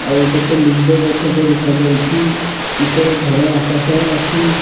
ଆଉ କେତେ ଲିମ୍ବ ଗଛଟେ ଦେଖାଯାଉଛି ଉପର ଧଳା ଆକାଶ ଅଛି।